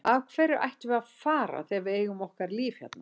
Af hverju ættum við að fara þegar við eigum okkar líf hérna?